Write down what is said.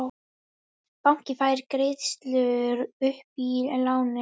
Bankinn fær greiðslur upp í lánið